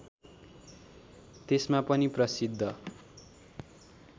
त्यसमा पनि प्रसिद्ध